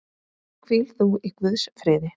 Hvíl þú í Guðs friði.